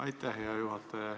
Aitäh, hea juhataja!